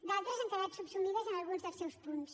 d’altres han quedat subsumides en alguns dels seus punts